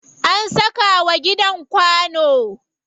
An saka wa gidan kwano.